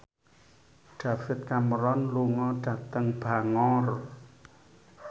David Cameron lunga dhateng Bangor